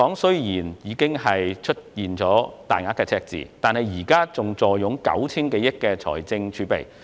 雖然香港出現大額赤字，但現時仍坐擁 9,000 多億元的財政儲備。